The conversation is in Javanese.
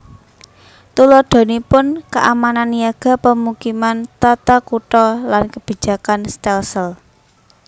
Tuladhanipun keamanan niaga pemukiman tata kutha lan kebijakan stelsel